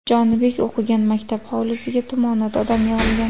Jonibek o‘qigan maktab hovlisiga tumonat odam yig‘ilgan.